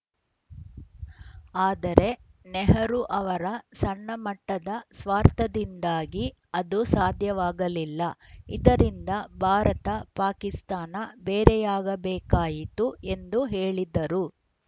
ಆದರೆ ನೆಹರು ಅವರ ಸಣ್ಣಮಟ್ಟದ ಸ್ವಾರ್ಥದಿಂದಾಗಿ ಅದು ಸಾಧ್ಯವಾಗಲಿಲ್ಲ ಇದರಿಂದ ಭಾರತ ಪಾಕಿಸ್ತಾನ ಬೇರೆಯಾಗಬೇಕಾಯಿತು ಎಂದು ಹೇಳಿದ್ದರು